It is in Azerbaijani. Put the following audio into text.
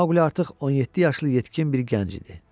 Mauli artıq 17 yaşlı yetkin bir gənc idi.